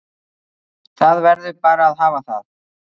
Það verður bara að hafa það